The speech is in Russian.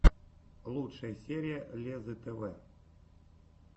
лучшая серия леззы тв